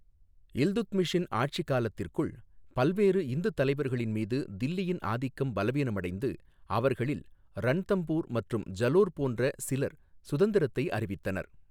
இல்துட்மிஷின் ஆட்சிக் காலத்திற்குள், பல்வேறு இந்து தலைவர்களின்மீது தில்லியின் ஆதிக்கம் பலவீனமடைந்து, அவர்களில் ரன்தம்பூர் மற்றும் ஜலோர் போன்ற சிலர் சுதந்திரத்தை அறிவித்தனர்.